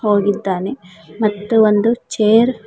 ಹೋಗಿದ್ದಾನೆ ಮತ್ತು ಒಂದು ಚೇರ್ --